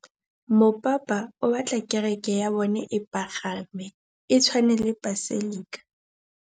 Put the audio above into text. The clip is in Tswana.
Mopapa o batla kereke ya bone e pagame, e tshwane le paselika.